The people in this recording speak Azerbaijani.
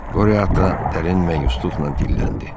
Qori ata dərin məyusluqla diləndi: